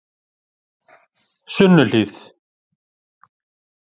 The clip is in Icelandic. Sunnuhlíð